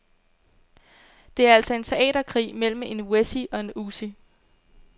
Det er altså en teaterkrig mellem en wessie og en ossie.